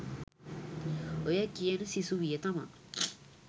ඔය කියන සිසුවිය තමා